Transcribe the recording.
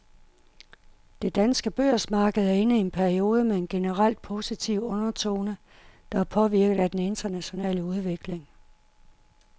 Det danske børsmarked er inde i en periode med en generelt positiv undertone, der er påvirket af den internationale udvikling.